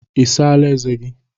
I sala eze gị taa?